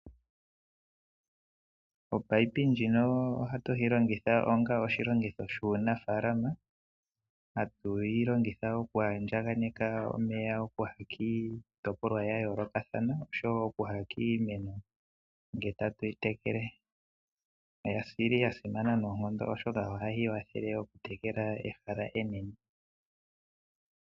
Opayipi ndjino oha tuhilongitha onga oshilonga shunafalama. Ha tuhilongitha oku andjakaneka omeya opo gathike kitopolwa ya yolokathana opo gathike kimeno nge tatuyitekele oyili ya simana no nkondo uunene ohayi wathele okutekela ehala enene.